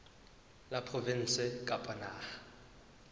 la provinse kapa la naha